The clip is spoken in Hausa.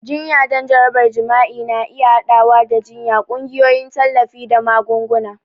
Jinya don jarabar jima'i na iya haɗawa da jiyya, ƙungiyoyin tallafi, da magunguna.